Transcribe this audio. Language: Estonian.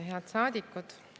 Head saadikud!